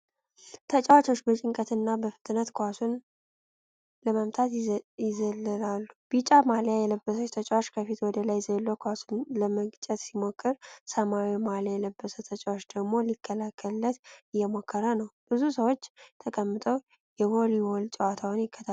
ተጨዋቾቹ በጭንቀትና ፍጥነት ኳሱን ለመምታት ይዘለላሉ። ቢጫ ማሊያ የለበሰ ተጫዋች ከፊት ወደ ላይ ዘሎ ኳሱን ለመግጨት ሲሞክር፣ ሰማያዊ ማሊያ የለበሰ ተጫዋች ደግሞ ሊከላከልለት እየሞከረ ነው። ብዙ ሰዎች ተቀምጠው የቮሊቦል ጨዋታውን ይከታተላሉ።